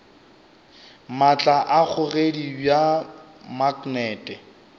maatla a kgogedi bja maknete